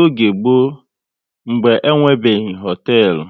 Oge mgbọ, mgbe enwebeghi hoteelu,